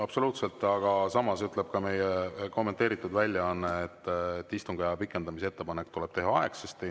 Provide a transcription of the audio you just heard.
Absoluutselt, aga samas ütleb meie kommenteeritud väljaanne, et istungiaja pikendamise ettepanek tuleb teha aegsasti.